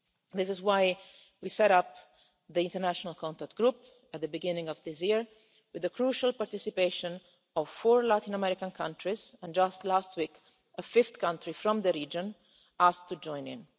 This is why we set up the international contact group at the beginning of this year, with the crucial participation of four Latin American countries, and just last week a fifth country from the region asked to join in.